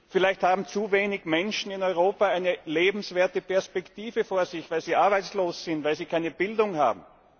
Vielleicht haben zu wenige Menschen in Europa eine lebenswerte Perspektive vor sich, weil sie arbeitslos sind, weil sie keine Bildung haben.